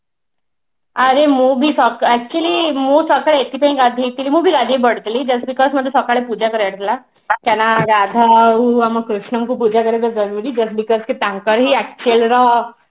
ଆରେ ମୁଁ ବି ସକା actually ମୁଁ ସକାଳେ ଏଥିପାଇଁ ଗାଧେଇଥିଲି ମୁଁ ବି ଗାଧେଇ ପଡିଥିଲି just because ମତେ ସକାଳେ ପୂଜା କରିବାର ଥିଲା କାହିଁ ନା ଗାଧଉ ଆମ କୃଷ୍ଣଙ୍କୁ ପୂଜା କରିବାଟା ଜରୁରି just because ତାଙ୍କରି